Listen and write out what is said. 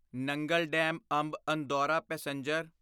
Nangal dam Amb Andaura passenger